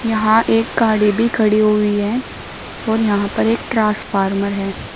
यहां एक गाड़ी भी खड़ी हुई है और यहां पर एक ट्रांसफार्मर है।